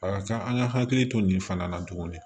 A ka ca an ka hakili to nin fana na tuguni